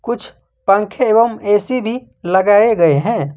कुछ पंखे एवं ए_सी भी लगाए गए हैं।